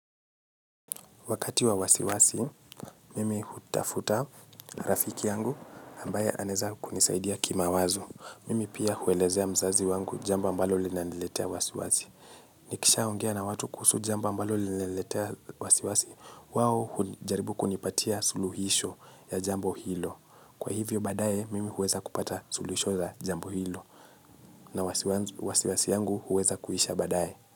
Wakati wa wasiwasi, mimi hutafuta rafiki yangu ambaya anaeza kunisaidia kimawazo. Mimi pia huelezea mzazi wangu jambo ambalo linaniletea wasiwasi. Nikisha ongea na watu kuhusu jambo ambalo linaniletea wasiwasi, wao hujaribu kunipatia suluhisho ya jambo hilo. Kwa hivyo baadaye, mimi huweza kupata suluhisho za jambo hilo. Na wasiwasi yangu hueza kuisha baadaye.